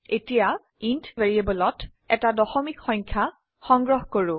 এতিয়া ইণ্ট ভ্যাৰিয়েবলত এটা দশমিক সংখ্যা সংগ্ৰহ কৰো